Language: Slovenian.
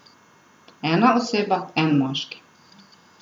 Ena oseba, en moški.